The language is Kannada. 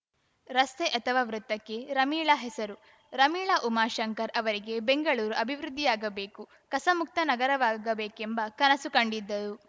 ರಸ್ತೆ ಅಥವಾ ವೃತ್ತಕ್ಕೆ ರಮೀಳಾ ಹೆಸರು ರಮೀಳಾ ಉಮಾಶಂಕರ್‌ ಅವರಿಗೆ ಬೆಂಗಳೂರು ಅಭಿವೃದ್ಧಿಯಾಗಬೇಕು ಕಸ ಮುಕ್ತ ನಗರವಾಗಬೇಕೆಂಬ ಕನಸು ಕಂಡಿದ್ದರು